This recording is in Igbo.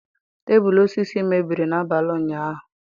Tebụl osisi mebiri n'abalị ụnyahụ.